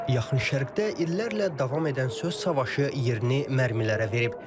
Yaxın Şərqdə illərlə davam edən söz savaşı yerini mərmilərə verib.